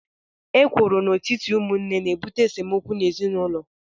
Ekworo n'etiti ụmụnne na-ebute esemokwu n'ezinụlọ